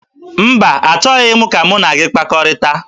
Mba, achọghị m ka mụ na gị kpakọrịta